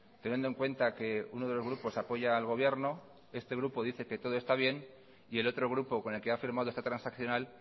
teniendo en cuenta que uno de los grupos apoya al gobierno este grupo dice que todo está bien y el otro grupo con el que ha firmado esta transaccional